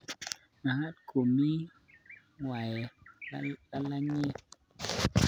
Magat ko mii ng'weny lalangiet